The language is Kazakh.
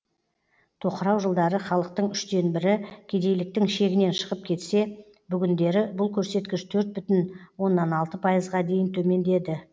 тоқырау жылдары халықтың үштен бірі кедейліктің шегінен шығып кетсе бүгіндері бұл көрсеткіш төрт бүтін оннан алты пайызға дейін төмендеді